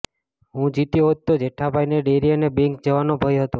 હું જીત્યો હોત તો જેઠાભાઇને ડેરી અને બેંક જવાનો ભય હતો